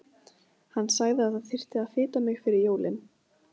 Hann sagði að það þyrfti að fita mig fyrir jólin.